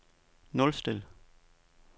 nulstil